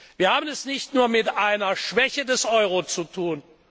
Wir haben es nicht nur mit einer Schwäche des Euro zu tun.